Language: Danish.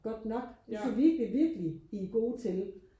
godt nok det synes jeg virkelig virkelig I er gode til